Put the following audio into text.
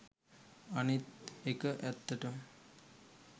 අනිත් එක ඇත්තටම